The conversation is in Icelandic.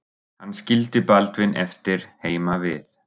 Hann skildi Baldvin eftir heima við.